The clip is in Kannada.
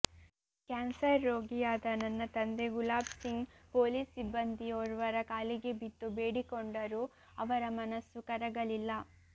ಕ್ಯಾನ್ಸರ್ ರೋಗಿಯಾದ ನನ್ನ ತಂದೆ ಗುಲಾಬ್ ಸಿಂಗ್ ಪೊಲೀಸ್ ಸಿಬ್ಬಂದಿಯೋರ್ವರ ಕಾಲಿಗೆ ಬಿದ್ದು ಬೇಡಿಕೊಂಡರೂ ಅವರ ಮನಸ್ಸು ಕರಗಲಿಲ್ಲ